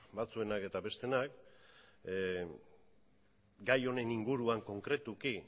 batzuenak eta bestenak gai honen inguruan konkretuki